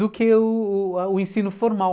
Do que o o o ensino formal.